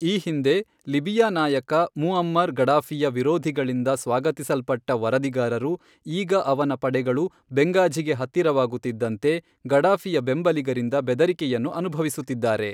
ಈ ಹಿಂದೆ ಲಿಬಿಯಾ ನಾಯಕ ಮುಅಮ್ಮರ್ ಗಡಾಫಿಯ ವಿರೋಧಿಗಳಿಂದ ಸ್ವಾಗತಿಸಲ್ಪಟ್ಟ ವರದಿಗಾರರು, ಈಗ ಅವನ ಪಡೆಗಳು ಬೆಂಗಾಝಿಗೆ ಹತ್ತಿರವಾಗುತ್ತಿದ್ದಂತೆ ಗಡಾಫಿಯ ಬೆಂಬಲಿಗರಿಂದ ಬೆದರಿಕೆಯನ್ನು ಅನುಭವಿಸುತ್ತಿದ್ದಾರೆ